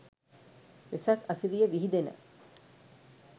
වෙසක් අසිරිය විහිදෙන